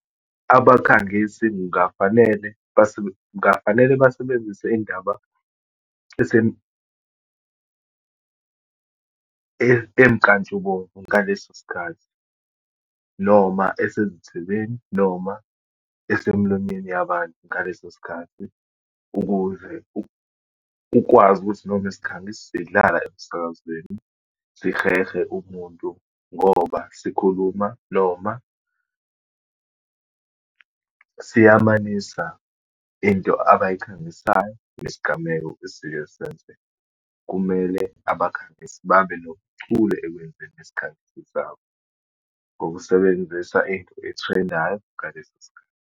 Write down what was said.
Abakhangisi kungafanele kungafanele basebenzise indaba emnkantshubomvu ngaleso sikhathi, noma esezithebeni, noma asemlonyeni yabantu ngaleso sikhathi. Ukuze ukwazi ukuthi noma isikhangiso sidlala emsakazweni, sihehe umuntu ngoba sikhuluma, noma siyamanisa into abayikhangisayo nesigameko isike senzeka. Kumele abakhangisi babe nobuchule ekwenzeni isikhangisi sabo, ngokusebenzisa into ethrendayo ngaleso sikhathi.